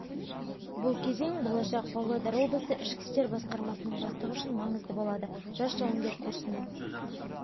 бұл кезең болашақ павлодар облысы ішкі істер басқармасының бастығы үшін маңызды болады жас жауынгер курсын